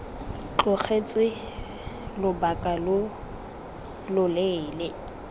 tlogetswe lobaka lo lo leele